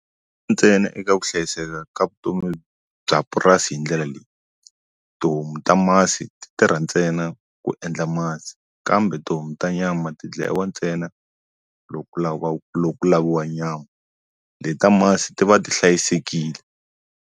Ntsena eka ku hlayiseka ka vutomi bya purasi hi ndlela leyi tihomu ta masi ti tirha ntsena ku endla masi kambe tihomu ta nyama ti dlayiwa ntsena loko ku laviwa loko ku laviwa nyama leta masi ti va ti hlayisekile.